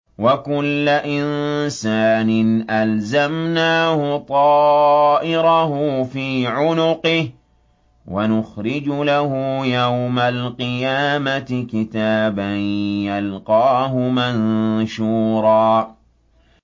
وَكُلَّ إِنسَانٍ أَلْزَمْنَاهُ طَائِرَهُ فِي عُنُقِهِ ۖ وَنُخْرِجُ لَهُ يَوْمَ الْقِيَامَةِ كِتَابًا يَلْقَاهُ مَنشُورًا